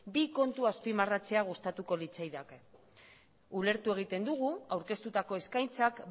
bi kontu azpimarratzea gustatuko litzaidake ulertu egiten dugu aurkeztutako eskaintzak